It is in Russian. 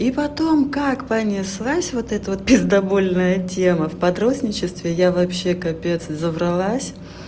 и потом как понеслась вот это вот пиздабольная тема в подростничестве я вообще капец завралась